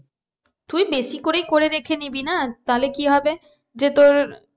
তুই বেশি করেই করে রেখে নিবি না তাহলে কি হবে যে তোর